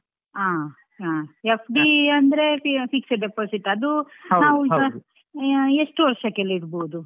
ಹಾ ಹಾ, FD ಅಂದ್ರೆ fixed deposit ಅದು ಎಷ್ಟು ವರ್ಷಕ್ಕೆಲ್ಲ ಇಡಬಹುದು?